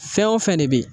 Fɛn o fɛn de bɛ yen